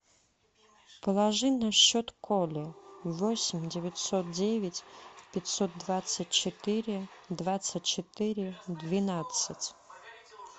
положи на счет коле восемь девятьсот девять пятьсот двадцать четыре двадцать четыре двенадцать